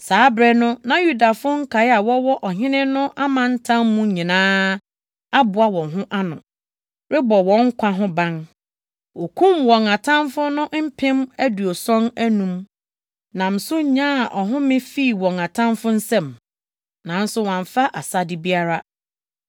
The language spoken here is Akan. Saa bere no na Yudafo nkae a wɔwɔ Ɔhene no amantam mu nyinaa aboa wɔn ho ano, rebɔ wɔn nkwa ho ban. Wokum wɔn atamfo no mpem aduɔson anum, nam so nyaa ɔhome fii wɔn atamfo nsam. Nanso wɔamfa asade biara.